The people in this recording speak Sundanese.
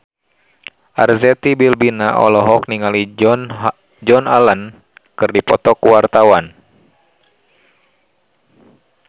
Arzetti Bilbina olohok ningali Joan Allen keur diwawancara